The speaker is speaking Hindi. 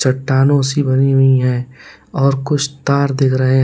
चट्टानों से भरी हुई है और कुछ तार दिख रहे हैं।